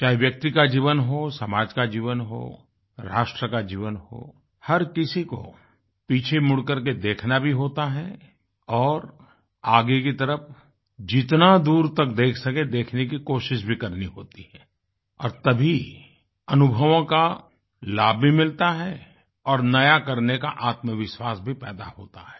चाहे व्यक्ति का जीवन हो समाज का जीवन हो राष्ट्र का जीवन हो हर किसी को पीछे मुड़कर के देखना भी होता है और आगे की तरफ जितना दूर तक देख सकेंदेखने की कोशिश भी करनी होती है और तभी अनुभवों का लाभ भी मिलता है और नया करने का आत्मविश्वास भी पैदा होता है